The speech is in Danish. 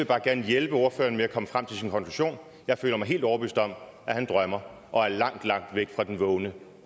bare gerne hjælpe ordføreren med at komme frem til sin konklusion jeg føler mig helt overbevist om at han drømmer og er langt langt væk fra den vågne